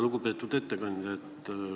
Lugupeetud ettekandja!